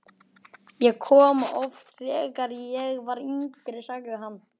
Ég kom hingað oft, þegar ég var yngri sagði hann.